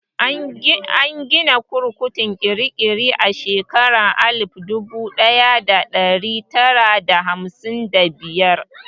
An gina kurkukun kirikiri a shekara alif dubu ɗaya da ɗari tara da hamsin da biyar.